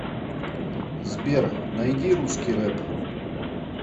сбер найди русский рэп